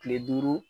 Kile duuru